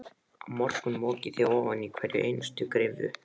Á morgun mokið þið ofan í hverja einustu gryfju.